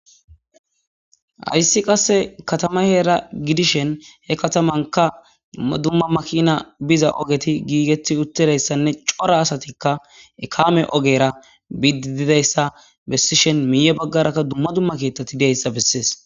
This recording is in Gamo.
hayssi qasse katama heera gidishen he katamanka dumma dumma makina biza ogeti giigetti uttirayssanne cora asatikka ekame ogera bidididayssa bessishen miye baggarakka dumma dumma kiitati deyssa bessees